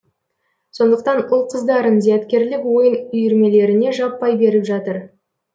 сондықтан ұл қыздарын зияткерлік ойын үйірмелеріне жаппай беріп жатыр